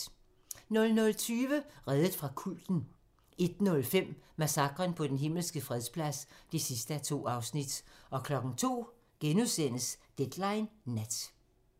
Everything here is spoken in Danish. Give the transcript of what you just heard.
00:20: Reddet fra kulten 01:05: Massakren på Den Himmelske Fredsplads (2:2) 02:00: Deadline nat *